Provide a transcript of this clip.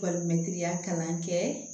Balimaya kalan kɛ